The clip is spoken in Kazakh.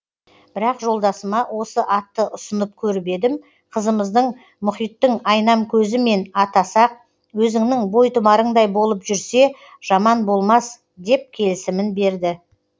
бірақ жолдасыма осы атты ұсынып көріп едім қызымызды мұхиттың айнамкөзімен атасақ өзіңнің бойтұмарыңдай болып жүрсе жаман болмас деп келісімін берді